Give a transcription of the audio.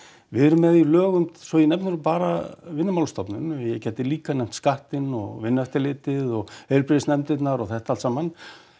við erum með í lögum svo ég nefni nú bara Vinnumálastofnun en ég gæti líka nefnt skattinn og Vinnueftirlitið og heilbrigðisnefndir og þetta allt saman